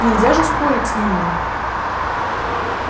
нельзя же спорить с ними